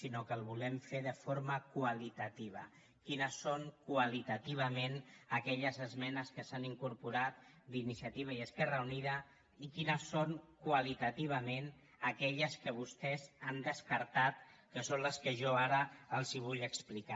sinó que el volem fer de forma qualitativa quines són qualitativament aquelles esmenes que s’han incorporat d’iniciativa i esquerra unida i quines són qualitativament aquelles que vostès han descartat que són les que jo ara els vull explicar